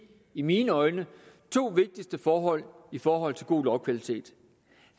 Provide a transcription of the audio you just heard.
i mine øjne to vigtigste forhold i forhold til god lovkvalitet